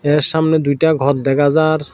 এর সামনে দুইটা ঘর দেখা যার।